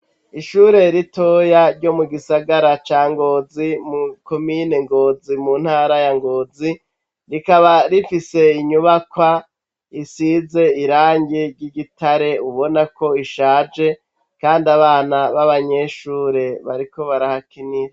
Ishure ritoya ryo mu gisagara ca Ngozi mu komine Ngozi mu ntara ya Ngozi rikaba rifise inyubakwa isize irangi ry'igitare ubona ko ishaje kandi abana b'abanyeshure bariko barahakinira.